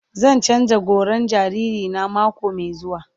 Zan canza goran jariri na mako mai zuwa.